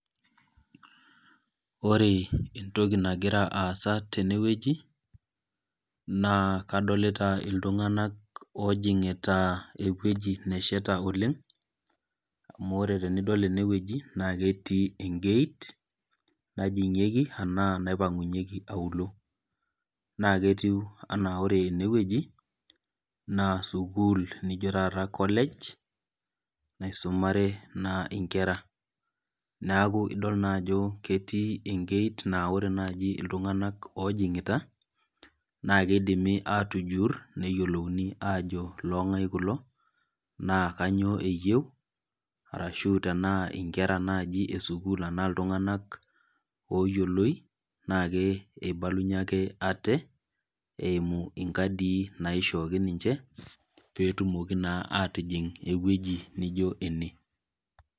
Ore entoki nagira aasa tenewueji, naa kadolita iltung'anak ojing'ita ewueji nesheta oleng, amu ore tenidol enewueji, na ketii egeit, najing'ieki anaa naipang'unyeki auluo. Na ketiu anaa ore enewueji, naa sukuul nijo taata college, naisumare naa inkera. Neeku idol naajo ketii egeit na ore naji iltung'anak ojing'ita, na kidimi atujur neyiolouni ajo long'ai kulo, naa kanyioo eyieu, arashu tenaa naji inkera esukuul anaa iltung'anak oyioloi, na keibalunye ake ate, eimu inkadii naishooki ninche, petumoki naa atijing' ewueji nijo ene.